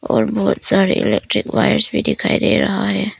और बहुत सारे इलेक्ट्रिक वायर्स भी दिखाई दे रहा है।